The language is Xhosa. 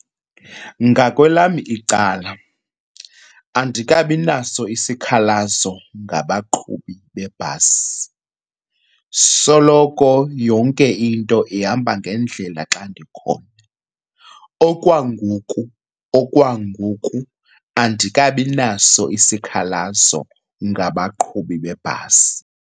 Ngakwelam icala andikabi naso isikhalazo ngabaqhubi bebhasi soloko yonke into ihamba ngendlela xa ndikhona. Okwangoku, okwangoku andikabi naso isikhalazo ngabaqhubi bebhasi.